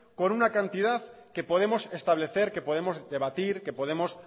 con una cantidad que podemos establecer que podemos debatir que podemos